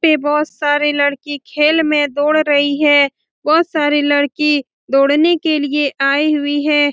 पे बोहोत सारी लड़की खेल में दौड़ रही है बोहोत सारी लड़की दौड़ने के लिए आई हुई है।